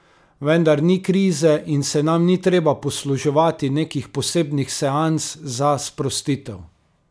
Vendar ni krize in se nam ni treba posluževati nekih posebnih seans za sprostitev.